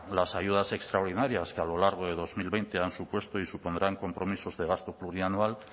las ayudas extraordinarias que a lo largo de dos mil veinte han supuesto y supondrán compromisos de gasto plurianual